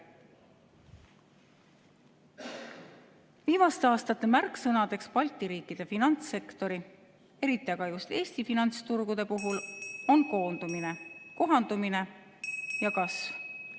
"2019. aasta märksõnadeks Balti riikide finantssektori, eriti aga just Eesti finantsturgude puhul on koondumine, kohandumine ja kasv.